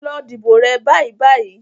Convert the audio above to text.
Lọ dìbò rẹ bàìbàì.